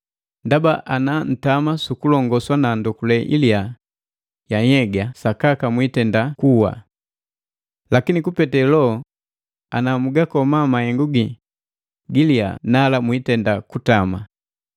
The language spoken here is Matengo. Ndaba ana ntama sukulongoswa na ndokule ilya ya nhyega sakaka mwiitenda kuwa. Lakini kupete Loho ana mugakoma mahengu gii gilyaa nala mwiitenda kutama.